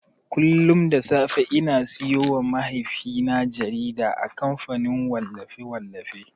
Kullun da safe ina siyowa mahaifina jarida a kamfanin wallafe-wallafi.